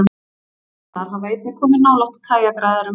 Brimlar hafa einnig komið nálægt kajakræðurum.